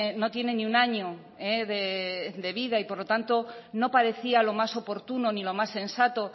no tiene ni un año de vida y por lo tanto no parecía lo más oportuno ni lo más sensato